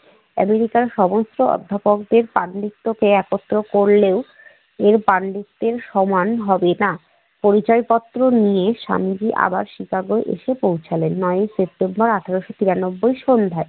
আমেরিকার সমস্ত অধ্যাপকদের পাণ্ডিত্যেকে একত্র করলেও এর পাণ্ডিত্যের সমান হবে না। পরিচয় পত্র নিয়ে স্বামীজি আবার শিকাগো এসে পৌছালেন নয়ই সেপ্টেম্বর আঠারশ তিরানব্বই সন্ধ্যায়।